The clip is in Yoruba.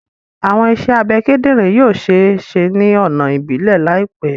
Awọn iṣẹ abẹ kidinrin yoo ṣee ṣe ni ọna ibilẹ laipẹ